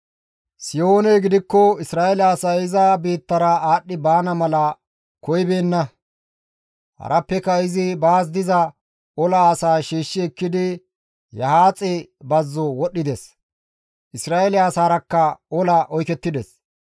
Sihooney gidikko Isra7eele asay iza biittara aadhdhi baana mala koyibeenna; harappeka izi baas diza ola asaa shiishshi ekkidi Yahaaxe bazzo wodhdhides; Isra7eele asaraakka ola oykettides.